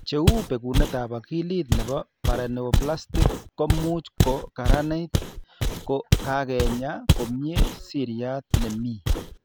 Che u, bekunetab akilit nebo paraneoplastic ko much ko karanit ko kakenya komnyie seriat ne mi.